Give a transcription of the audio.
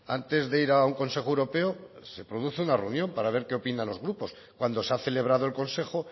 antes de ir a un consejo europeo se produce una reunión para ver qué opinan los grupos cuando se ha celebrado el consejo